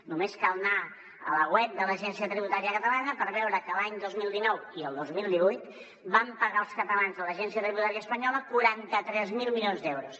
només cal anar a la web de l’agència tributària catalana per veure que l’any dos mil dinou i el dos mil divuit vam pagar els catalans a l’agència tributària espanyola quaranta tres mil milions d’euros